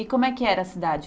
E como é que era a cidade?